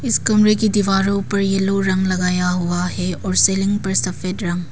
इस कमरे की दीवारों पर एलो रंग लगाया हुआ है और सीलिंग पर सफेद रंग।